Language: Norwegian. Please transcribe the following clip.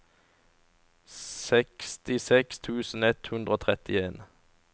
sekstiseks tusen ett hundre og trettien